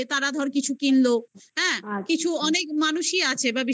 তারা ধর কিছু কিনলো. হ্যাঁ. কিছু অনেক মানুষই আছে বা বিশেষ